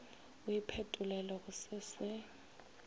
o iphetolele go se se